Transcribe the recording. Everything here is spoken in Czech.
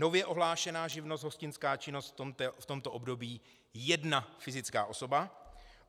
Nově ohlášená živnost hostinská činnost v tomto období jedna fyzická osoba.